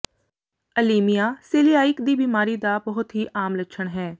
ਅਲੀਮੀਆ celiac ਦੀ ਬਿਮਾਰੀ ਦਾ ਬਹੁਤ ਹੀ ਆਮ ਲੱਛਣ ਹੈ